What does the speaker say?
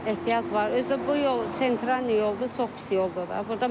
Ehtiyac var, özü də bu yol sentra yoldur, çox pis yoldur da.